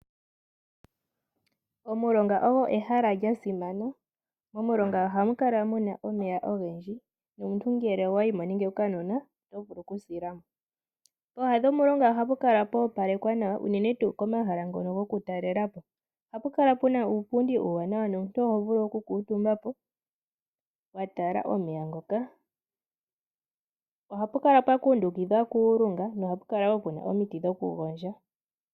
Omulonga ogo ehala lya simana, momulonga ohamu kala muna omeya ogendji nomuntu ngele owayi mo nenge okanona oto vulu okusila mo. Pooha dhomulonga ohapu kala pwa opalekwa nawa uunene tuu komahala ngono gokutalela po. Ohapu kala puna uupundi uuwanawa nomuntu oho vulu oku kuutumba po watala omeya ngoka, ohapu kala pwa kundikidhwa kuulunga nohapu kala wo puna omiti dhoku gondja.